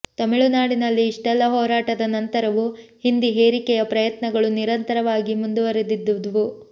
ತಮಿಳುನಾಡಿನಲ್ಲಿ ಇಷ್ಟೆಲ್ಲ ಹೋರಾಟದ ನಂತರವೂ ಹಿಂದಿ ಹೇರಿಕೆಯ ಪ್ರಯತ್ನಗಳು ನಿರಂತರವಾಗಿ ಮುಂದುವರಿದಿದ್ದುವು